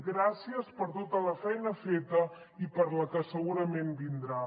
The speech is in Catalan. gràcies per tota la feina feta i per la que segurament vindrà